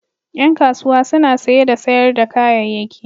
Ƴan kasuwa suna saye da sayar da kayayyaki.